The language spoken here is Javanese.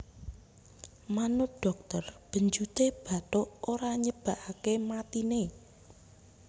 Manut dhokter benjuté bathuk ora nyebabaké matiné